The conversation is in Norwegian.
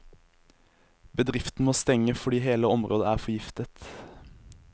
Bedriften må stenge, fordi hele området er forgiftet.